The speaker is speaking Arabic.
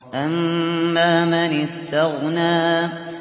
أَمَّا مَنِ اسْتَغْنَىٰ